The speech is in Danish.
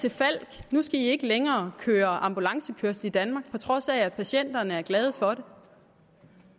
til falck nu skal i ikke længere køre ambulancekørsel i danmark på trods af at patienterne er glade for det